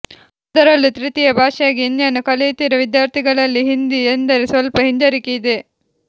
ಅದರಲ್ಲೂ ತೃತೀಯ ಭಾಷೆಯಾಗಿ ಹಿಂದಿಯನ್ನು ಕಲಿಯುತ್ತಿರುವ ವಿದ್ಯಾರ್ಥಿಗಳಲ್ಲಿ ಹಿಂದಿ ಎಂದರೆ ಸ್ವಲ್ಪ ಹಿಂಜರಿಕೆ ಇದೆ